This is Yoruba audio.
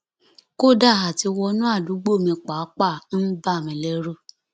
kódà àtiwọnú àdúgbò mi pàápàá ń bà mí lẹrù